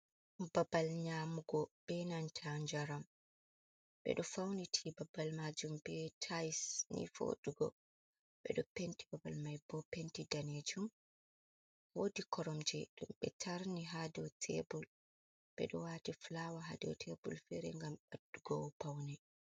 Babal nyamugo be nanta njaram. Ɓe ɗo fauniti babal maajum be tayis ni voɗugo. Ɓe ɗo penti babal mai bo, penti danejum. Woodi koromje ɗum ɓe tarni haa dow tebur, ɓe ɗo waati fulawa haa dow tebur iri ngam ɓeddugo paune.